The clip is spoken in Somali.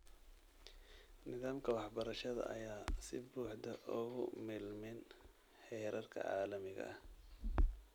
Nidaamka waxbarashada ayaan si buuxda ugu milmin heerarka caalamiga ah.